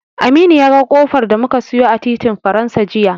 Aminu ya ga ƙofar da muka siyo a titin Faransa jiya.